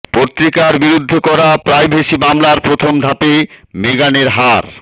পত্রিকার বিরুদ্ধে করা প্রাইভেসি মামলার প্রথম ধাপে মেগানের হার